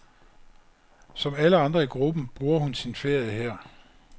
Som alle andre i gruppen bruger hun sin ferie her.